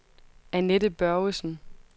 Anette Børgesen